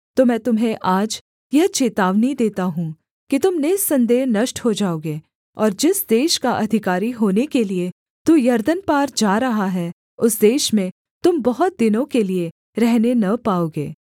तो मैं तुम्हें आज यह चेतावनी देता हूँ कि तुम निःसन्देह नष्ट हो जाओगे और जिस देश का अधिकारी होने के लिये तू यरदन पार जा रहा है उस देश में तुम बहुत दिनों के लिये रहने न पाओगे